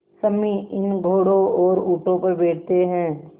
सम्मी इन घोड़ों और ऊँटों पर बैठते हैं